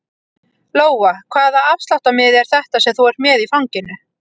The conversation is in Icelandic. Lóa: Hvaða afsláttarmiði er þetta sem þú ert með í fanginu?